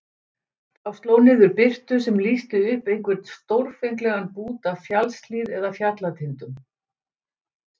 Þá sló niður birtu sem lýsti upp einhvern stórfenglegan bút af fjallshlíð eða fjallatindum.